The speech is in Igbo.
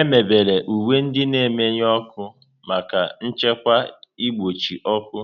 Emebere uwe ndị na-emenụ ọkụ maka nchekwa n'ìgbochi ọkụ